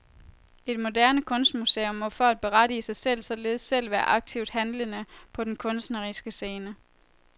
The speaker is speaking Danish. Et moderne kunstmuseum må for at berettige sig selv således selv være aktivt handlende på den kunstneriske scene.